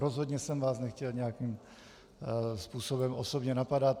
Rozhodně jsem vás nechtěl nějakým způsobem osobně napadat.